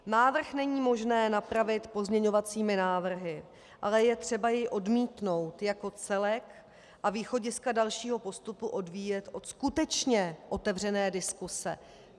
Návrh není možné napravit pozměňovacími návrhy, ale je třeba jej odmítnout jako celek a východiska dalšího postupu odvíjet od skutečně otevřené diskuse.